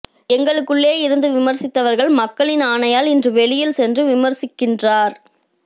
எங்களுக்குள்ளே இருந்து விமர்சித்தவர்கள் மக்களின் ஆணையால் இன்று வெளியில் சென்று விமர்சிக்கின்றார்